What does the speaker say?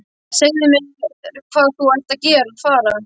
Segðu mér hvað þú ert að fara.